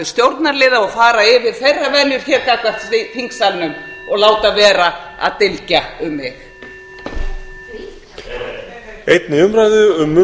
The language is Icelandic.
stjórnarliða og fara yfir þeirra venjur hér gagnvart þingsalnum og láta vera að dylgja um mig